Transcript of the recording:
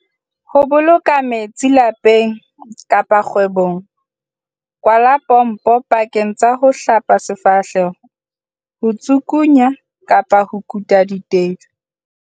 Ho boloka metsi lapeng kapa kgwebong Kwala pompo pakeng tsa ho hlapa sefahleho, ho tsukunya kapa ho kuta ditedu.